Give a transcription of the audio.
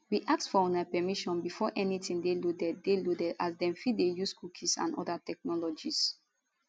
we ask for una permission before anytin dey loaded dey loaded as dem fit dey use cookies and oda technologies